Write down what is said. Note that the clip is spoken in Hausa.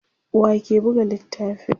wake Buga littafin?